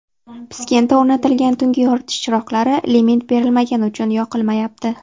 Piskentda o‘rnatilgan tungi yoritish chiroqlari limit berilmagani uchun yoqilmayapti.